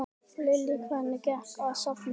Lillý: Hvernig gekk að safna?